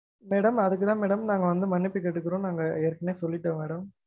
Madam அதுக்குதா madam நாங்க வந்து மன்னிப்பு கேட்டுக்குறொம் நாங்க ஏற்கனவே சொல்லிட்டொம் madam